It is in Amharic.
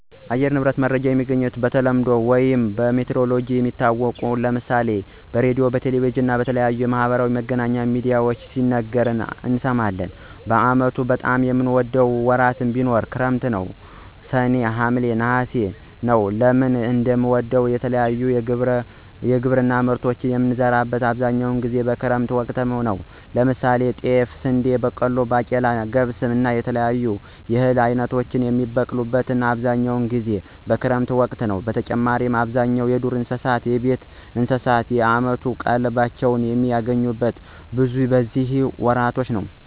የአየር ንብረት መረጃ የሚገኘው በተለምዶ ውይም በሜትሮሎጅ የሚታወቅ ነው። ለምሳሌ በሬድዮ፣ በቴሌቪዥን እና በተለያዩ የማህበራዊ መገናኛ ሚድያዎች ሲነገሩ እንሰማለን። በአመቱ በጣም የምወደው ወራት ቢኖር ክረምት ሰኔ፣ ሀምሌ፣ ነሐሴ ነወ። ለምን እንደምወደው የተለያዩ የግብርና ምርቶችን የምንዘራው አብዛኛውን ጊዜ በክረምት ወቅት ነው። ለምሳሌ ጤፍ፣ ስንዴ፣ በቆሎ፣ ባቄላ፣ ገብስ እና የተለያዩ የእህል አይነቶች የሚበቅሉት አብዛኛውን ጊዜ በክረምት ወቅት ነዉ። በተጨማሪም አብዛኛው የዱር እንስሳት፣ የቤት እንስሳት የአመት ቀለባቸውን የሚያገኙት በነዚህ ወራቶች ነው።